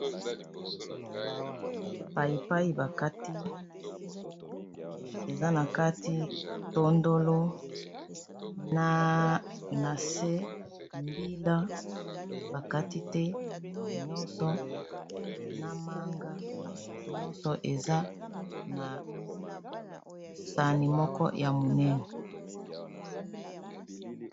paipai bakati eza na kati tondolo na se mbila bakati te nyonso na manga nyonso eza na sani moko ya monene